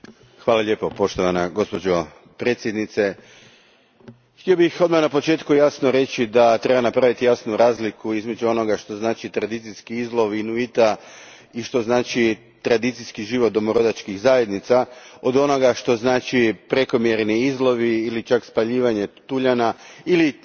Gospođo predsjednice, htio bih odmah na početku jasno reći da treba napraviti jasnu razliku između onoga što znači tradicijski izlov za Inuite i tradicijski život domorodačkih zajednica od onoga što znače prekomjerni izlovi ili čak spaljivanje tuljana, ili na neki način